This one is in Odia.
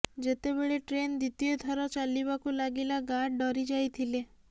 ଯେତେବେଳେ ଟ୍ରେନ ଦ୍ୱିତୀୟ ଥର ଚାଲିବାକୁ ଲାଗିଲା ଗାର୍ଡ ଡରି ଯାଇଥିଲେ